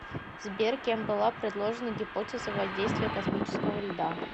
сбер кем была предложена гипотеза воздействия космического льда